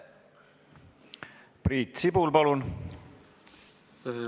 Priit Sibul, palun!